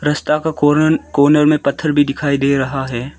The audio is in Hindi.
रस्ता का कोरन कॉर्नर में पत्थर भी दिखाई दे रहा है।